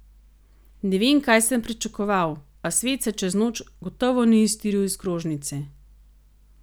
Ne vem, kaj sem pričakoval, a svet se čez noč gotovo ni iztiril iz krožnice.